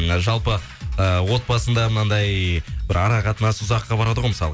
ы жалпы отбасында мынандай бір ара қатынас ұзаққа барады ғой мысалы